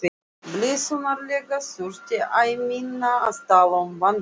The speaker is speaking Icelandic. Blessunarlega þurfti æ minna að tala um vandamálið.